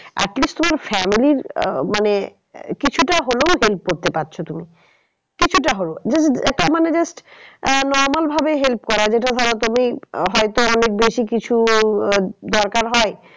At least তোমার family র মানে কিছুটা হলেও help করতে পারছো তুমি। কিছুটা হলেও একটা মানে just আহ normal ভাবে help করা যেটা ধরো তুমি হয়তো অনেক বেশি কিছু আহ দরকার হয়